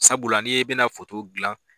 Sabula ni e bɛ na foto dilan.